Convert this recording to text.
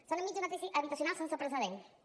som enmig d’una crisi habitacional sense precedents